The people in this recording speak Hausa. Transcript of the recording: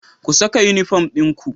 Ku saka unifom dinku